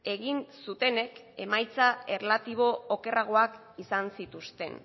egin zutenek emaitza erlatibo okerragoak izan zituzten